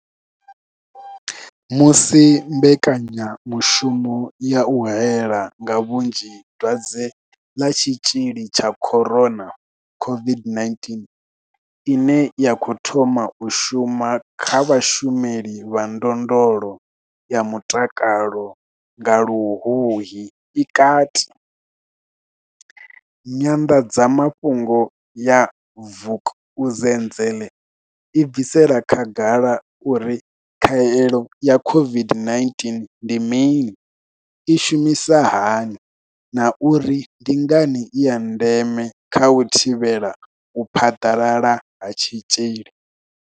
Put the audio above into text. Musi mbekanyamushumo ya u hae la nga vhunzhi dwadze ḽa Tshitzhili tsha corona COVID-19ine ya khou thoma u shuma kha vhashumeli vha ndondolo ya mutakalo nga luhuhi i kati, nyanḓadzamafhungo ya Vukuzenzele i bvisela khagala uri khaelo ya COVID-19 ndi mini, i shumisa hani na uri ndi ngani i ya ndeme kha u thivhela u phaḓalala ha tshitzhili.